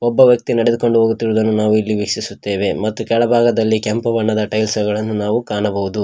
ಒಬ್ಬ ವ್ಯಕ್ತಿ ನಡೆದುಕೊಂಡು ಹೋಗುತಿರುವುದನ್ನು ನಾವು ಇಲ್ಲಿ ವಿಕ್ಷಿಸುತ್ತೇವೆ ಮತ್ತು ಕೆಳ ಭಾಗದಲ್ಲಿ ಕೆಂಪು ಬಣ್ಣದ ಟೈಲ್ಸ್ ಗಳನು ನಾವು ಇಲ್ಲಿ ಕಾಣಬಹುದು.